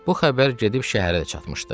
Bu xəbər gedib şəhərə də çatmışdı.